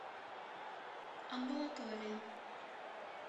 амбулатория